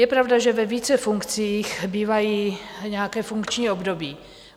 Je pravda, že ve více funkcích bývají nějaká funkční období.